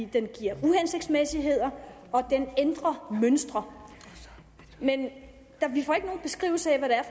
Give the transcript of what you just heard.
den giver uhensigtsmæssigheder og den ændrer mønstre men vi får ikke nogen beskrivelse af